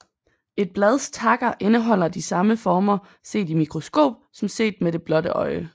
Et blads takker indeholder de samme former set i mikroskop som set med det blotte øje